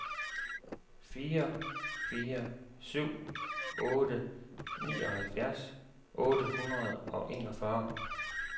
fire fire syv otte nioghalvfjerds otte hundrede og enogfyrre